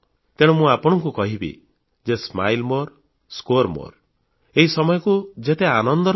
ତେଣୁ ମୁଁ ଆପଣଙ୍କୁ କହିବି ଯେ ସ୍ମାଇଲ୍ ମୋରେ ସ୍କୋର ମୋରେ ହସଖୁସିରେ ରହନ୍ତୁ ଅଧିକ ମାର୍କ ରଖନ୍ତୁ